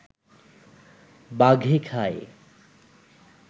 বাঘে খায়